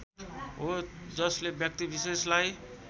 हो जसले व्यक्तिविशेषलाई